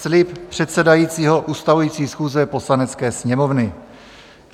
Slib předsedajícího ustavující schůze Poslanecké sněmovny